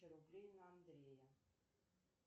рублей на андрея